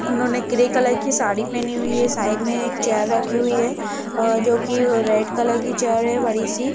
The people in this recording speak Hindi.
उन्होंने ग्रे कलर की साड़ी पहनी हुई है। साइड मे एक चेयर रखी हुई है अ जोकि रेड कलर की चेयर है बड़ी सी।